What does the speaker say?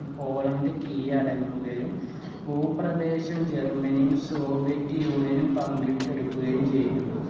Poland കീഴടങ്ങുകയും ഭൂപ്രദേശം ജെർമനിയും soviet union ഉം പങ്കിട്ട് എടുക്കകയും ചെയ്തു